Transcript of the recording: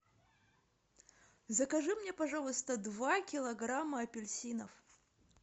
закажи мне пожалуйста два килограмма апельсинов